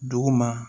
Dugu ma